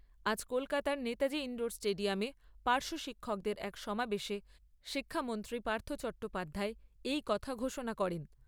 আজ কলকাতার নেতাজি ইণ্ডোর স্টেডিয়ামে পার্শ্ব শিক্ষকদের এক সমাবেশে শিক্ষামন্ত্রী পার্থ চট্টোপাধ্যায় এই কথা ঘোষণা করেন।